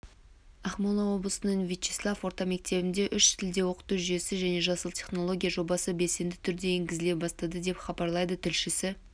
ақмола облысының вячеслав орта мектебінде үш тілде оқыту жүйесі мен жасыл технология жобасы белсенді түрде енгізіле бастады деп хабарлайды тілшісі